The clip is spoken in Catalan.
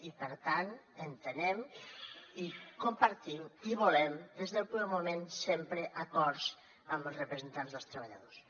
i per tant entenem i compartim i volem des del primer moment sempre acords amb els representants dels treballadors